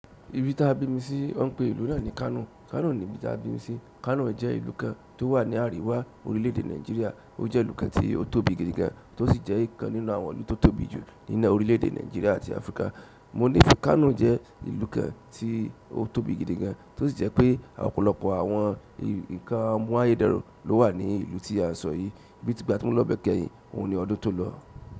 Ibi tí a bí mi sí wọ́n ń pe ìlú náà ní Kano. Kano ni ibi tí a bí mi sí. Kano jẹ́ ìlú kan tó wà ní àríwá orílẹ̀-ẹ̀dè Nàìjíríà. Ó jẹ́ ìlú kan tí ó tóbi gidi gan, tó sì jẹ́ ìkan nínú àwọn ìlú tó tóbi jù nínú orílẹ̀-ẹ̀dè Nàìjíríà àti Áfríkà. Mo ní fe Kano jẹ́ ìlú kan tí ó tóbi gidi gan, tó sì jẹ́ pé ọ̀pọ̀lọpọ̀ àwọn ǹkan àmú ayé dẹrùn ló wà ní ìlú tí a sọ yìí. Bí ti gbà tí mo lọ bẹ̀ kẹ́yìn, òun ni ọdún tó lọ.